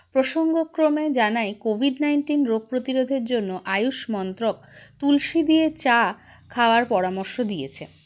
প্রসঙ্গক্রমে জানাই covid nineteen রোগপ্রতিরোধের জন্য আয়ূষমন্ত্রক তুলসী দিয়ে চা খাওয়ার পরামর্শ দিয়েছে